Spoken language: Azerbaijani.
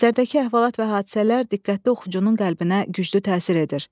Əsərdəki əhvalat və hadisələr diqqətli oxucunun qəlbinə güclü təsir edir.